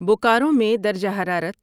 بوکارو میں درجہ حرارت